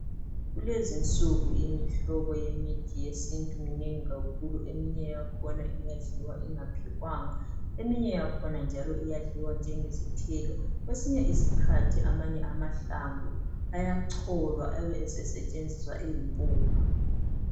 Kulezinsuku imihlobo yemithi yesintu minengi kakhulu, eminye yakhona iyadliwa ingaphekwanga, eminye yakhona njalo iyadliwa njengesithelo. Kwesinye isikhathi amanye amahlamvu ayacholwa ebe esesetshenziswa eyimpuphu.